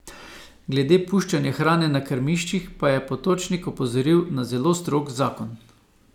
Glede puščanja hrane na krmiščih pa je Potočnik opozoril na zelo strog zakon.